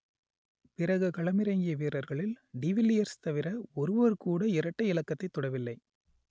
பிறகு களமிறங்கிய வீரர்களில் டி வில்லியர்ஸ் தவிர ஒருவர் கூட இரட்டை இலக்கத்தை தொடவில்லை